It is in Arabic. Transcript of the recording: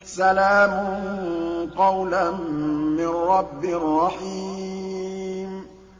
سَلَامٌ قَوْلًا مِّن رَّبٍّ رَّحِيمٍ